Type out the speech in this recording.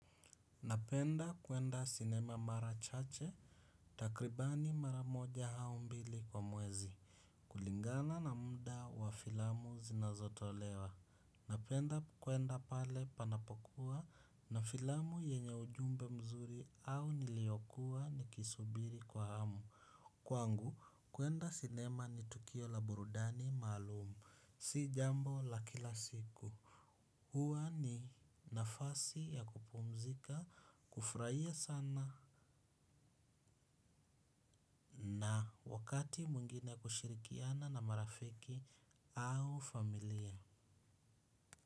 Napenda kwenda sinema mara chache. Takribani mara moja au mbili kwa mwezi. Kulingana na muda wa filamu zinazotolewa napenda kwenda pale panapokuwa na filamu yenye ujumbe mzuri au niliyokuwa nikisubiri kwa hamu. Kwangu kwenda sinema ni tukio la burudani maalumu. Si jambo la kila siku. Hua ni nafasi ya kupumzika, kufurahia sana na wakati mwingine kushirikiana na marafiki au familia.